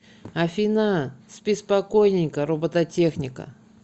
афина спи спокойненько робототехника